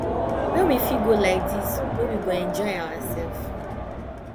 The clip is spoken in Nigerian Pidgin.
where we fit go like this wey we go enjoy ourself